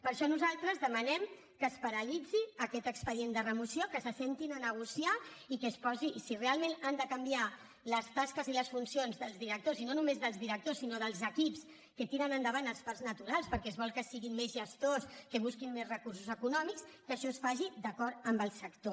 per això nosaltres demanem que es paralitzi aquest expedient de remoció que s’asseguin a negociar i si realment han de canviar les tasques i les funcions dels directors i no només dels directors sinó dels equips que tiren endavant els parcs naturals perquè es vol que siguin més gestors que busquin més recursos econòmics que això es faci d’acord amb el sector